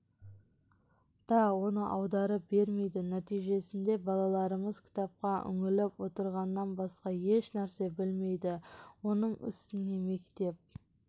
да оны аударып бермейді нәтижесінде балаларымыз кітапқа үңіліп отырғаннан басқа ешнәрсе білмейді оның үстіне мектеп